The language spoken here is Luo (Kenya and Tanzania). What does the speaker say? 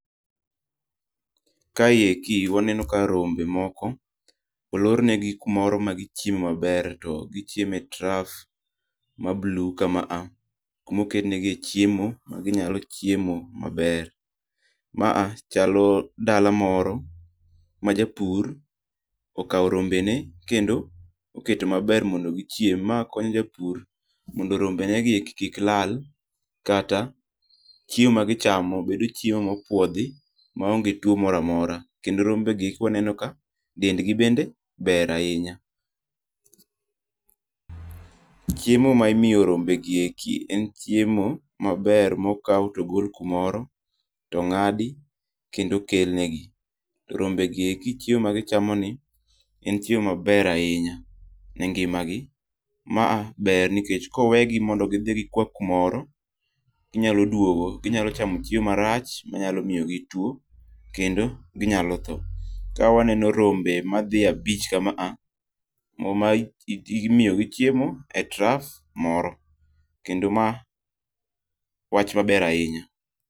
Kaeki waneno ka rombe moko olornegi kumoro ma gichieme maber to gichiemo e trough ma blue kama a kama oketnegi e chiemo ma ginyalo chiemo maber. Ma a chalo dalo moro ma japur okawo rombene kendo oketo maber mondo gichiem. Ma konyo japur mondo rombe negi eki kik lal kata chiemo magichamo bedo chiemo mopuodhi maonge tuwo moro amora. Kendo rombegi eki waneno ka dendgi bende ber ahinya. Chiemo ma imiyo rombegi eki en chiemo maber mokaw togol kumoro, tong'adi kendo okelnegi. To rombegi eki chiemo magichamoni en chiemo maber ahinya e ngimagi. Ma a ber nikech kowegi mondo gidhi gikuwa kumoro, inyalo duogo, ginyalo chamo chiemo marach manyalo miyo gi tuwo, kendo ginyalo tho. Ka waneno rombe madhi abich kama a imiyogi chiemo e trough moro kendo ma wach maber ahinya.